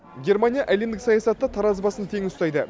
германия әлемдік саясатта таразы басын тең ұстайды